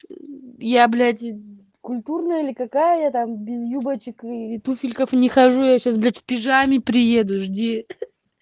я блять культурная или какая там без юбочек туфельков не хожу я сейчас блять в пижаме приеду жди